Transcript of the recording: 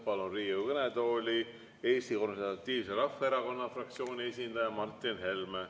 Palun Riigikogu kõnetooli Eesti Konservatiivse Rahvaerakonna fraktsiooni esindaja Martin Helme.